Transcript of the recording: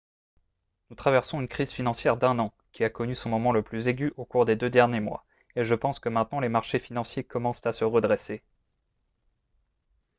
nous traversons une crise financière d'un an qui a connu son moment le plus aigu au cours des deux derniers mois et je pense que maintenant les marchés financiers commencent à se redresser. »